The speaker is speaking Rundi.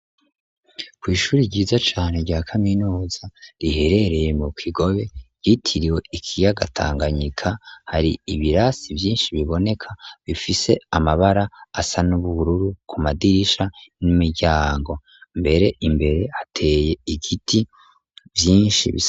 Kw'ishure ryiza cane rya kaminuza riherereye mu Kigobe ryitiriwe ikiyaga Tanganyika, hari ibirasi vyinshi biboneka, bifise amabara asa n'ubururu ku madirisha n'imiryango. Mbere imbere hateye ibiti vyinshi.